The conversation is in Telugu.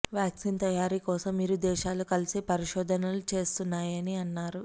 వ్యాక్సిన్ తయారీ కోసం ఇరు దేశాలూ కలిసి పరిశోధనలు చేస్తున్నాయని అన్నారు